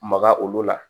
Maga olu la